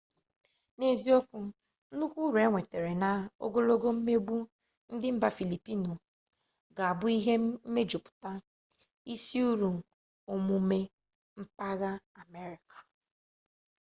n'eziokwu nnukwu uru e nwetara na ogologo mmegbu ndị mba filipiinụ ga-abụ ihe mejuputara isi uru omume empaya amerịka